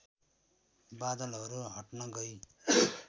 बादलहरू हट्न गई